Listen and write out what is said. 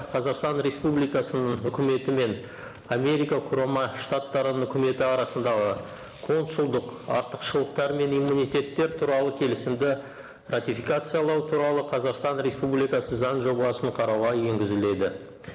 қазақстан республикасының үкіметі мен америка құрама штаттарының үкіметі арасындағы консулдық артықшылықтар мен иммунитеттер туралы келісімді ратификациялау туралы қазақстан республикасы заң жобасын қарауға енгізіледі